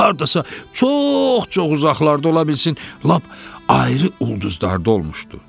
Hardasa çox-çox uzaqlarda ola bilsin lap ayrı ulduzlarda olmuşdu.